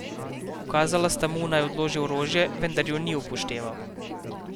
Ukazala sta mu, naj odloži orožje, vendar ju ni upošteval.